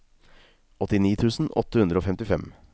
åttini tusen åtte hundre og femtifem